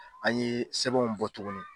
An ye sɛbɛnw bɔ tugunni.